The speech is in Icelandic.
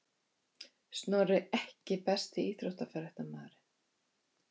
Snorri EKKI besti íþróttafréttamaðurinn?